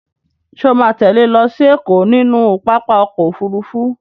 Ṣo ma tẹ́lẹ̀ lọ sí Ẹ̀kọ́ nínú pápá ọkọ̀ Òfurufú?